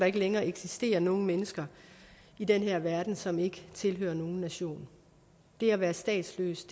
ikke længere eksistere nogen mennesker i den her verden som ikke tilhører nogen nation det at være statsløs